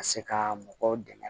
Ka se ka mɔgɔw dɛmɛ